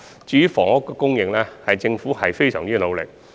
至於房屋供應方面，政府已非常努力。